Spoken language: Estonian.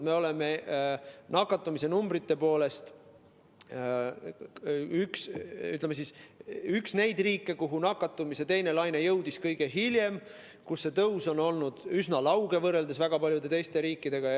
Me oleme nakatumise numbrite poolest, ütleme, üks neid riike, kuhu nakatumise teine laine jõudis kõige hiljem ja kus tõus on olnud üsna lauge, võrreldes väga paljude teiste riikidega.